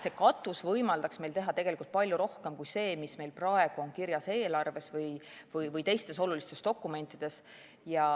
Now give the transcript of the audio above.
See katus peaks võimaldama meil teha palju rohkem kui see, mis praegu on kirjas eelarves või teistes olulistes dokumentides.